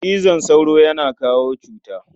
Cizon sauro yana kawo cuta.